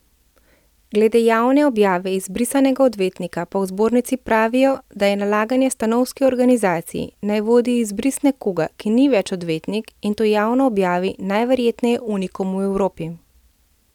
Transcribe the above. Glede javne objave izbrisanega odvetnika pa v zbornici pravijo, da je nalaganje stanovski organizaciji, naj vodi izbris nekoga, ki ni več odvetnik, in to javno objavi, najverjetneje unikum v Evropi.